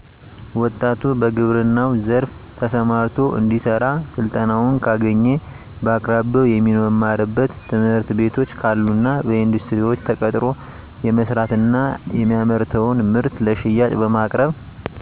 ወጣቱ በግብረናው ዘርፋ ተሰማርቶ እንዲሰራ ስልጠናውን ካገኘ በአቅራቢያው የሚማርበት ትምህርትቤቶች ካሉና በኢንዱስትሪዎች ተቀጥሮ የመስራት እና የሚያመርተውን ምርት ለሽያጭ በማቅረብ